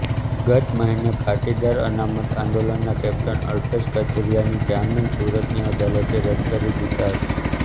ગત મહિને પાટીદાર અનામત આંદોલનના કૅપ્ટન અલ્પેશ કથીરિયાની જામીન સુરતની અદાલતે રદ કરી દીધા હતા